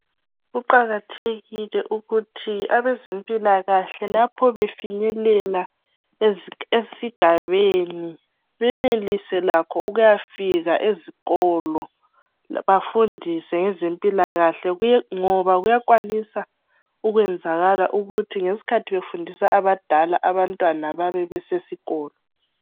Kuqakathekile ukuthi abezempilakahle lapho befinyelela esigabeni benelise lakho ukuyafinyelela ezikolo bafundise ngezempilakahle ngoba kuyakwanisa ukwenzakala ukuthi ngesikhathi befundisa abadala abantwana bebe besesikolo